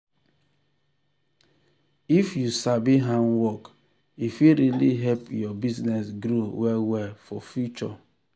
if you sabi hand work e fit really help your business grow well well for future.